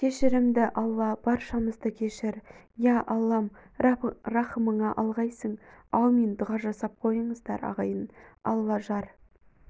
кешірімді алла баршамызды кешір ия аллам рақымыңа алғайсың аумин дұға жасап қойыңыздар ағайын алла жар